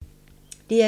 DR2